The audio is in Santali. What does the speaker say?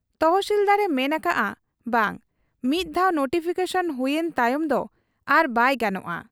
ᱛᱚᱦᱥᱤᱞᱫᱟᱨ ᱮ ᱢᱮᱱ ᱟᱠᱟᱜ ᱟ ᱵᱟᱝ, ᱢᱤᱫ ᱫᱷᱟᱣ ᱱᱳᱴᱤᱯᱷᱤᱠᱮᱥᱚᱱ ᱦᱩᱭ ᱮᱱ ᱛᱟᱭᱚᱢ ᱫᱚ ᱟᱨᱵᱟᱭ ᱜᱟᱱᱚᱜ ᱟ ᱾